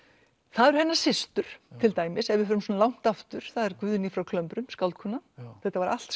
það eru hennar systur til dæmis ef við förum svona langt aftur það er Guðný frá skáldkona þetta var allt